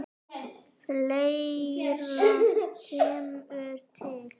Fleira kemur til.